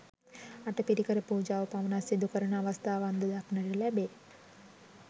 අටපිරිකර පූජාව පමණක් සිදුකරන අවස්ථාවන්ද දක්නට ලැබේ.